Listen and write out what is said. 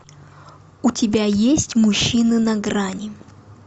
у тебя есть мужчины на грани